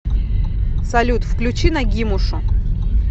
салют включи нагимушу